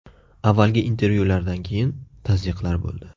Avvalgi intervyulardan keyin tazyiqlar bo‘ldi.